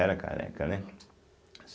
Era careca, né?